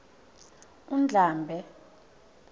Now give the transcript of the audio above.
undlambe